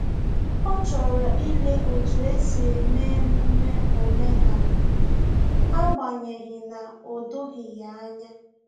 Ọ chọrọ ile otu esi eme emume omenala, agbanyeghi na o doghi ya anya